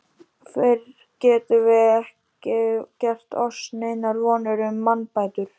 Fyrr getum vér ekki gert oss neinar vonir um mannbætur.